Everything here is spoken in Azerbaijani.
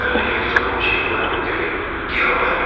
O əlini Herzoqun çiyninə vurub dedi: Qiyamətdir.